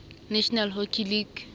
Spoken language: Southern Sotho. national hockey league